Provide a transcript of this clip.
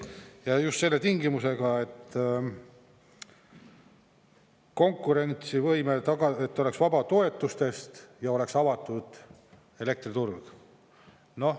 Ja just selle tingimusega, et konkurentsivõime oleks tagatud, et oleks vaba toetustest ja oleks avatud elektriturg.